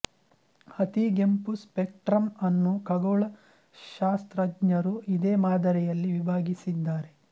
ಅತಿಗೆಂಪು ಸ್ಪೇಕ್ಪ್ರಮ್ ಅನ್ನು ಖಗೋಳ ಶಾಸ್ತ್ರಜ್ಞರು ಇದೇ ಮಾದರಿಯಲ್ಲಿ ವಿಭಾಗಿಸಿದ್ದಾರೆ